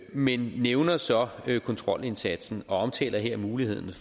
men nævner så kontrolindsatsen og omtaler her muligheden